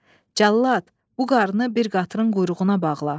Cəllad, bu qarını bir qatırın quyruğuna bağla.